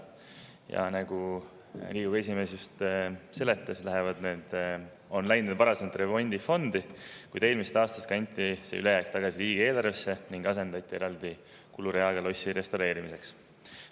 Ja nagu Riigikogu esimees just seletas, on need varasemalt läinud remondifondi, kuid eelmisest aastast kanti see ülejääk tagasi riigieelarvesse ning selle asemel on eraldi rida lossi restaureerimise jaoks.